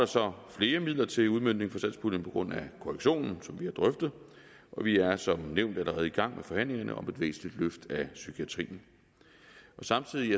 så flere midler til udmøntning fra satspuljen på grund af korrektionen som vi har drøftet og vi er som nævnt allerede i gang med forhandlingerne om et væsentligt løft af psykiatrien samtidig